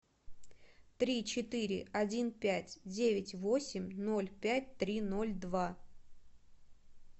три четыре один пять девять восемь ноль пять три ноль два